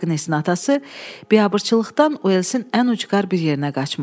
Agnesin atası biabırçılıqdan Uelsin ən ucqar bir yerinə qaçmışdı.